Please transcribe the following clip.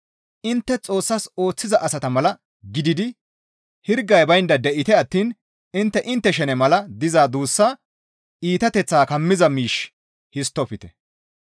Intte Xoossas ooththiza asata mala gididi hirgay baynda de7ite attiin intte intte shene mala diza duussaa iitateththaa kammiza miish histtofte.